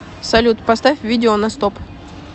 салют поставь видео на стоп